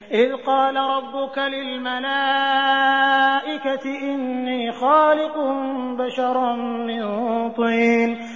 إِذْ قَالَ رَبُّكَ لِلْمَلَائِكَةِ إِنِّي خَالِقٌ بَشَرًا مِّن طِينٍ